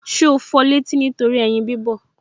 Ṣé o fọ létí nítorí ẹyin bí bọ̀